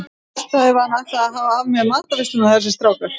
Verst ef hann ætlar að hafa af mér matarveisluna þessi strákur.